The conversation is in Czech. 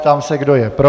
Ptám se, kdo je pro.